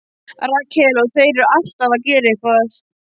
Rakel: Og þeir eru alltaf að gera eitthvað.